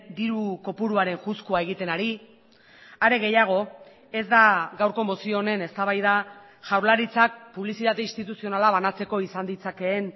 diru kopuruaren juzkua egiten ari are gehiago ez da gaurko mozio honen eztabaida jaurlaritzak publizitate instituzionala banatzeko izan ditzakeen